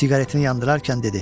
Siqaretini yandırarkən dedi: